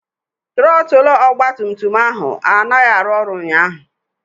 Trọtụl ọgbatumtum ahụ anaghị arụ ọrụ ụnyaahụ.